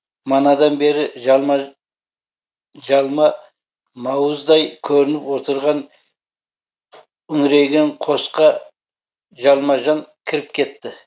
манадан бері жалма мауыздай көрініп отырған үңірейген қосқа жалма жан кіріп кетті